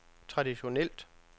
traditionelt